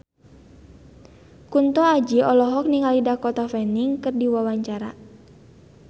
Kunto Aji olohok ningali Dakota Fanning keur diwawancara